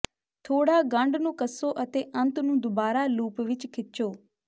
ਥੋੜਾ ਗੰਢ ਨੂੰ ਕੱਸੋ ਅਤੇ ਅੰਤ ਨੂੰ ਦੁਬਾਰਾ ਲੂਪ ਵਿੱਚ ਖਿੱਚੋ